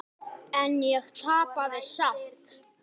En ég tapaði samt.